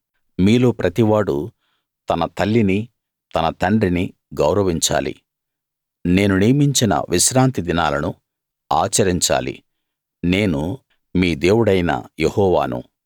మీలో ప్రతివాడూ తన తల్లిని తన తండ్రిని గౌరవించాలి నేను నియమించిన విశ్రాంతి దినాలను ఆచరించాలి నేను మీ దేవుడైన యెహోవాను